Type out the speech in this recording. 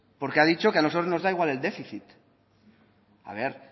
porque ha dicho que a nosotros nos da igual el déficit a ver